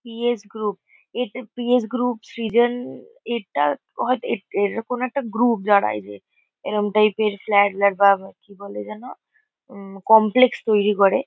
PS. Group. এটা P S. Group. Srijan এটা হয়তো এটা এটা কোনো একটা গ্রূপ যারা এই যে এরম টাইপ -এর ফ্ল্যাট প্ল্যাট বা কি বলে যেন? উম কমপ্লেক্স তৈরী করে।